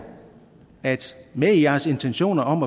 at i med jeres intentioner om